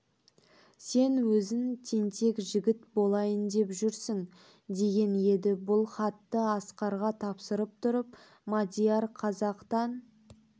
сен өзің тентек жігіт болайын деп жүрсің деген еді бұл хатты асқарға тапсырып тұрып мадияр қазақтан